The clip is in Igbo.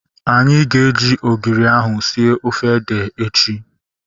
Anyị ga-eji ogiri ahu sie ofe ede echi